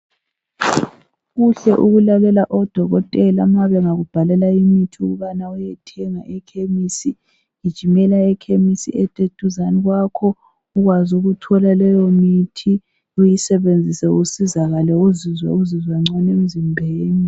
Kuhle ukulalela odokotela ma begakubhalela imithi ukubana uyethenga ekhemisi. Gijimela ekhemisi eduzane kwakho ukwazi ukuthola leyo muthi, uyisebenzise usizakale uzizwe uzizwa ngcono emzimbeni.